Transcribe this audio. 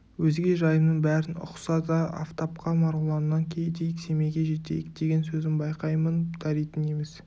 өзге жайымның бәрін ұқса да афтапқа марғұланнан кетейік семейге жетейік деген сөзім байқаймын даритын емес